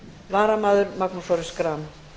varamaður er magnús orri schram